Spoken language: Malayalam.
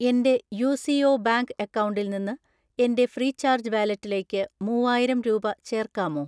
എൻ്റെ യു.സി.ഒ ബാങ്ക് അക്കൗണ്ടിൽ നിന്ന് എൻ്റെ ഫ്രീചാർജ് വാലറ്റിലേക്ക് മൂവായിരം രൂപ ചേർക്കാമോ?